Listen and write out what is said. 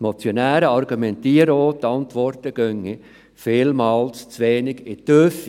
Die Motionäre argumentieren auch, die Antworten gingen vielmals zu wenig in die Tiefe.